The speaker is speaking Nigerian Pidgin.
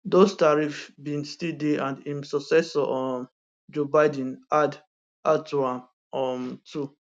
dose tariffs bin still dey and im successor um joe biden add add to am um too